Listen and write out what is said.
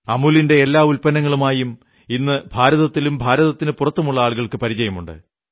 അമൂലിന്റെ എല്ലാ ഉത്പന്നങ്ങളുമായും ഇന്നും ഭാരതത്തിലും ഭാരതത്തിനു പുറത്തുമുള്ള ആളുകൾക്കു പരിചയമുണ്ട്